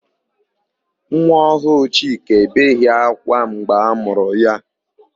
Nwa ọhụụ Chika ebeghị ákwá mgbe a mụrụ ya.